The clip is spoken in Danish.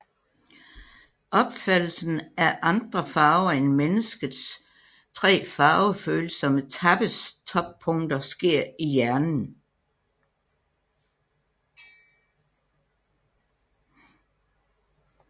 Opfattelsen af andre farver end mennesket tre farvefølsomme tappes toppunkter sker i hjernen